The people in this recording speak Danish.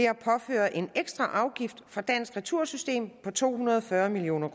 at påføre en ekstra afgift for dansk retursystem på to hundrede og fyrre million